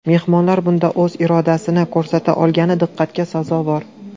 Mehmonlar bunda o‘z irodasini ko‘rsata olgani diqqatga sazovor.